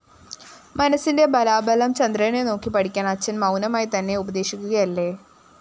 മനസ്സിന്റെ ബലാബലം ചന്ദ്രനെ നോക്കി പഠിക്കാന്‍ അച്ഛന്‍ മൗനമായിത്തന്നെ ഉപദേശിക്കുകയല്ലേ!